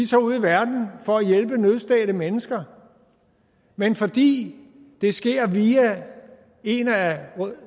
tager ud i verden for at hjælpe nødstedte mennesker men fordi det sker via en af